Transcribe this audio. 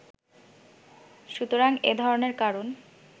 সুতরাং এ ধরনের কারণ